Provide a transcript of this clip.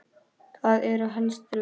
Það eru helstu rökin.